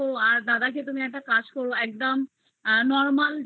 আর দাদাকে একটা কাজ করো normal যেগুলো আছে সাধারণ খাবার